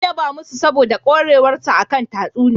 An yaba masu saboda ƙwarewarsa a kan tatsuniya.